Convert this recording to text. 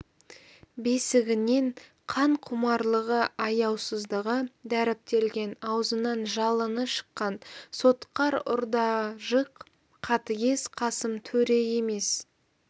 бесігінен қанқұмарлығы аяусыздығы дәріптелген аузынан жалыны шыққан сотқар ұрда-жық қатігез қасым төре емес